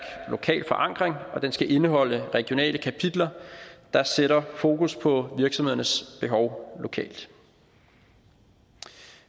lokal forankring og den skal indeholde regionale kapitler der sætter fokus på virksomhedernes behov lokalt